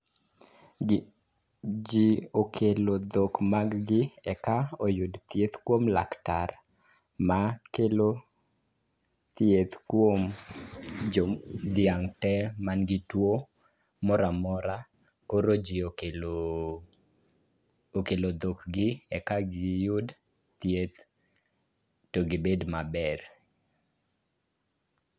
Ji okelo dhok maggi eka oyud thieth kuom laktar makelo thieth kuom dhiang' te manigi tuwo moramora. Koro ji okelo dhokgi eka giyud thieth to gibed maber.